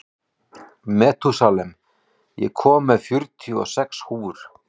Metúsalem, ég kom með fjörutíu og sex húfur!